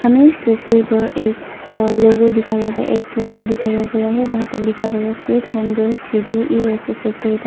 हमें इस तस्वीर पर एक अ लोगों दिखाया गया एक पोस्टर दिखाया गया है जहां पर लिखा है sweet home girls P G E S S sector Itanagar.